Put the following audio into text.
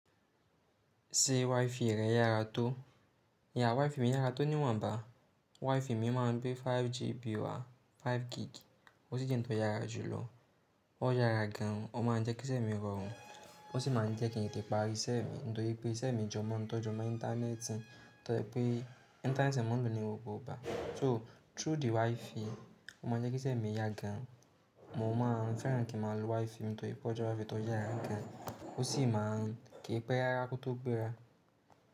Ṣé WiFi rẹ yára tó? Yeah WiFi mi yára tó ni wọ̀nba. WiFi mi má ń gbé 5GB wá, 5Gig. Ó sì jẹ́ n tó yára jù lọ. Ó yára gan, ó má ń jẹ́ kí iṣẹ́ mi rọrùn. Ó sì má ń jẹ́ kí n tète parí iṣẹ́ mi. Nítorí pé iṣẹ́ mi jọmọ̀, n tó jọmọ́ Íńtánẹ́ẹ̀tì, to je pé Íńtánẹ́ẹ̀tì ni mo maa n lò ní gbogbo igba. So through the WiFi, ó má ń jẹ́ kí iṣẹ́ mi yára gan. Mo má ń fẹ́ràn kí n má lo WiFi nítorí pé ọjọ́ bí to yára gan. Ó sì má ń kìí pé rára kó tó gbéra.